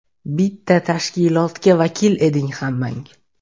Bitta tashkilotga vakil eding hammang.